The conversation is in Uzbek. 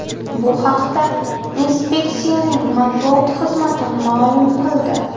Bu haqda inspeksiyaning matbuot xizmati ma’lum qildi.